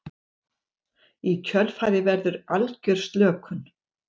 Í kjölfarið verður algjör slökun.